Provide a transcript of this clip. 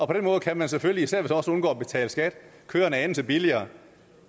på den måde kan man selvfølgelig især hvis man også undgår at betale skat køre en anelse billigere